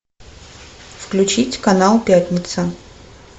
включить канал пятница